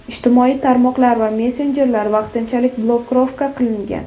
Ijtimoiy tarmoqlar va messenjerlar vaqtinchalik blokirovka qilingan.